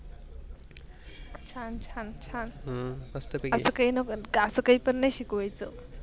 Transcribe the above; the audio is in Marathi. छान छान छान अस काहीं पण अस काही पण नाही शिकवायेची.